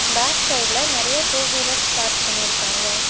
Back சைடுல நெறையா two wheelers park பண்ணிருக்காங்க.